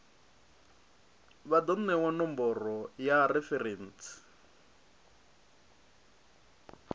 vha do newa nomboro ya referentsi